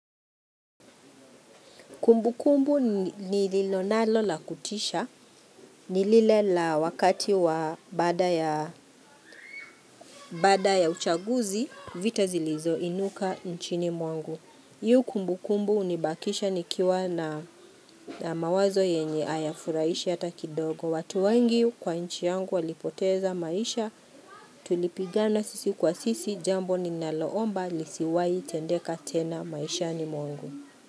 Kumbu kumbu nililonalo la kutisha nilile la wakati wa baada ya uchaguzi vita zilizoinuka nchini mwangu. Hio kumbu kumbu unibakisha nikiwa na mawazo yenye ayafuraishi hata kidogo. Watu wengi kwa nchi yangu walipoteza maisha tulipigana sisi kwa sisi jambo ninaloomba lisiwai tendeka tena maishani mwangu.